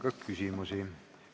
Teile on küsimusi.